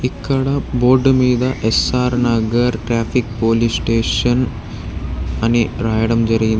ఇక్కడ బోర్డు మీద SR Nagar traffic police station అని రాయడం జరిగిం --